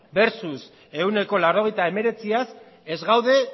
versus ehuneko laurogeita hemeretziaz ez gaude